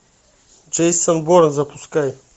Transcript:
джейсон борн запускай